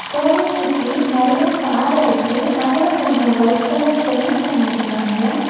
கோவில் சுத்தி நெறைய பாற இருக்கு அதுல கொஞ்சோ ஒயிட் கலர் பெயிண்ட் பண்ணியிருக்காங்க.